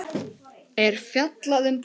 er fjallað um púður.